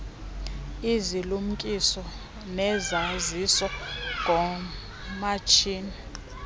izilumkiso nezaziso ngoomatshini